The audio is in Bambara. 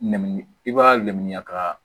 Nɛmini i b'a nɛmɛya ka